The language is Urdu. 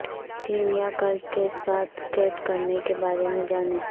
ٹیم یا کلب کے ساتھ سکیٹ کرنے کے بارے میں جانیں